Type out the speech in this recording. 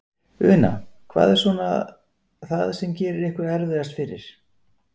Una: Hvað er svona það sem að gerir ykkur erfiðast fyrir?